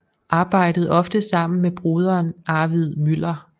Arbejdede ofte sammen med broderen Arvid Müller